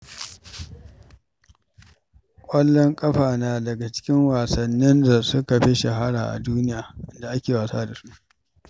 Ƙwallon ƙafa na daga cikin wasannin da suka fi shahara a duniya da ake gasa da su.